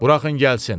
Buraxın gəlsin.